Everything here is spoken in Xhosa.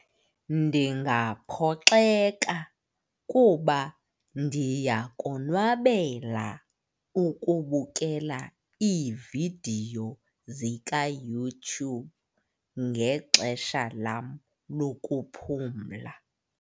Ndingaphoxeka kuba ndiyakonwabela ukubukela iividiyo zikaYouTube ngexesha lam lokuphumla.